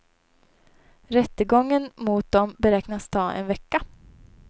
Rättegången mot dem beräknas ta en vecka.